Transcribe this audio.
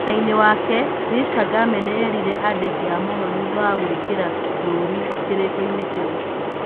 Mwena-inĩ wake, Raisi Kagame nĩ erire andĩki a mohoro thutha wa gwĩkĩra rũũri kĩrĩĩko-inĩ kĩu.